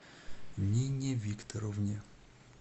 нине викторовне